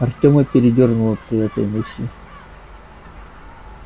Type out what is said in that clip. артёма передёрнуло при этой мысли